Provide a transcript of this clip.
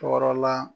Tɔɔrɔ la